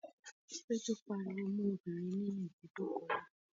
Péjú pariwo mọ́ obìnrin ní ibùdókọ̀ náà